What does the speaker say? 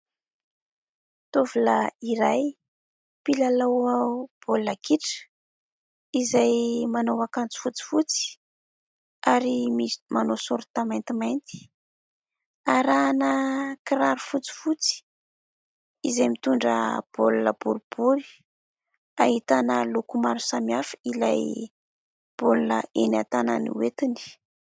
Tovolahy iray mpilalao baolina kitra izay manao akanjo fotsifotsy ary manao saorita mantimainty arahina kiraro fotsifotsy izay mitondra baolina boribory, ahitana loko maro samihafa ilay baolina eny an-tanany hoentiny.